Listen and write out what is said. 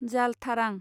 जाल थारां